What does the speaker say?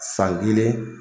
San kelen.